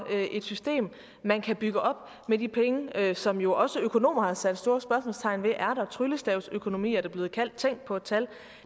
et system man kan bygge op med de penge som jo også økonomer har sat store spørgsmålstegn ved om er der tryllestavsøkonomi er det blevet kaldt tænk på et tal